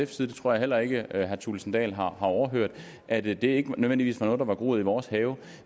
side det tror jeg heller ikke herre thulesen dahl har overhørt at det ikke nødvendigvis var noget der var groet i vores have